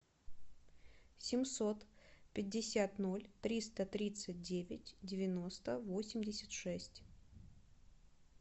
семьсот пятьдесят ноль триста тридцать девять девяносто восемьдесят шесть